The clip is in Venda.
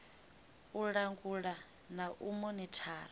u langula na u monithara